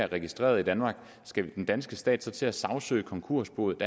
registreret i danmark skal den danske stat så til at sagsøge konkursboet